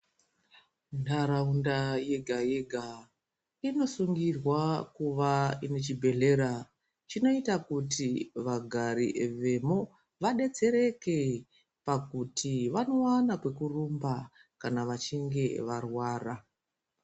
Nharaunda yega yega inosungirwa kuva ine chibhehleya chinoita kuti vagari vemo vadetsereke pakuti vanowana kwekurumba kana vachinge varwara.